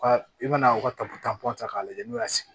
U ka i bɛna u ka ta k'a lajɛ n'u y'a sigi